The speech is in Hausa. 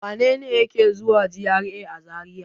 Wane ne yake zuwa GRA a Zariya?